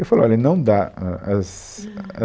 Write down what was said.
Eu falei, olha, não dá, ãh, as